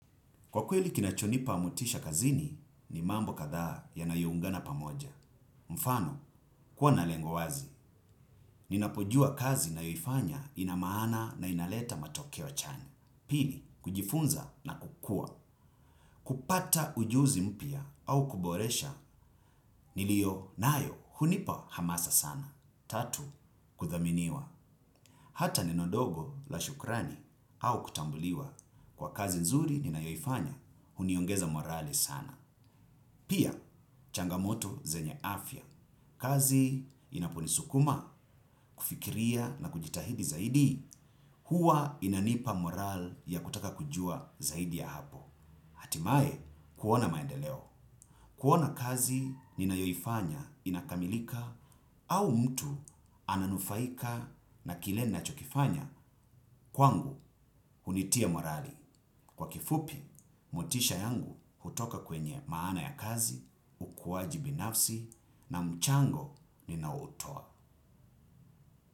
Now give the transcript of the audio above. Kwa kweli kinacho nipa motisha kazini ni mambo kathaa yanayo ungana pamoja. Mfano, kuwa na lengo wazi. Ninapujua kazi ninayo ifanya inamahana na inaleta matoke chanya. Pili, kujifunza na kukua. Kupata ujuzi mpya au kuboresha nilio nayo unipa hamasa sana. Tatu, kuthaminiwa. Hata neno dogo la shukrani au kutambuliwa. Kwa kazi nzuri ninayo ifanya, huniongeza morali sana. Pia, changamoto zenye afya, kazi inapunisukuma kufikiria na kujitahidi zaidi, huwa inanipa moral ya kutaka kujua zaidi ya hapo. Hatimae kuona maendeleo, kuona kazi ninayoifanya inakamilika au mtu ananufaika na kile ninachokifanya kwangu hunitia morali. Kwa kifupi, mutisha yangu hutoka kwenye maana ya kazi, kuwajibi nafsi na mchango ninao hutowa.